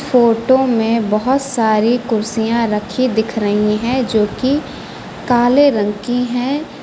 Photo में बहुत सारी कुर्सियां रखी दिख रही हैं जोकि काले रंग की हैं।